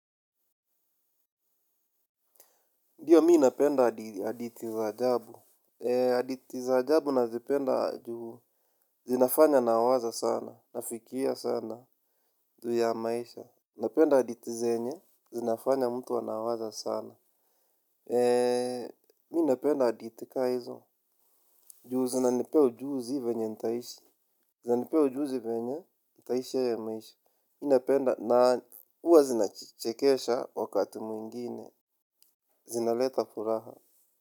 Ndiyo, mi napenda hadithi za ajabu. Hadithi za ajabu nazipenda juu. Zinafanya nawaza sana, nafikia sana, juu ya maisha. Napenda adithi zenye, zinafanya mtu anawaza sana. Eee, mi napenda adithi ka hizo. Juu zinanipe ujuzi venye nitaishi. Zinanipea ujuzi venye, nitaishi ya maisha. Mi napenda na uwa zinachekesha wakati mwingine. Zinaleta furaha.